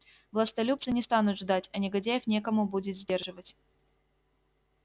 властолюбцы не станут ждать а негодяев некому будет сдерживать